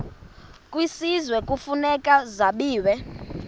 kwisizwe kufuneka zabiwe